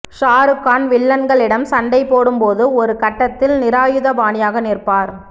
ஷாருக்கான் வில்லன்களிடம் சண்டை போடும் போது ஒரு கட்டத்தில் நிராயுதபாணியாக நிற்பார்